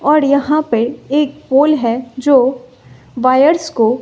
और यहां पे एक पुल है जो बायर्स को--